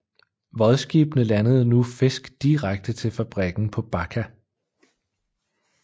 Vodskibene landede nu fisk direkte til fabrikken på Bakka